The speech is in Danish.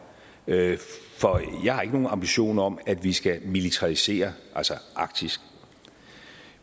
jeg jeg har ikke nogen ambitioner om at vi skal militarisere arktis